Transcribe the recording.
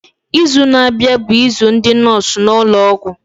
Izu na-abịa bụ izu ndị nọọsụ n'ụlọọgwụ.